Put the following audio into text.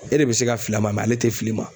E de bɛ se ka fili a ma ale tɛ se ka fili i ma